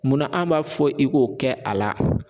Munna an m'a fɔ i k'o kɛ a la.